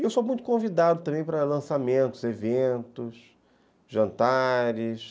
E eu sou muito convidado também para lançamentos, eventos, jantares.